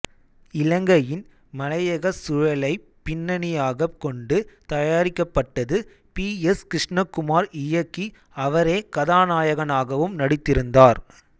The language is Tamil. இலங்கையின் மலையகச் சூழலைப் பின்னணியாகக் கொண்டு தயாரிக்கப்பட்டது பி எஸ் கிருஷ்ணகுமார் இயக்கி அவரே கதாநாயகனாகவும் நடித்திருந்தார்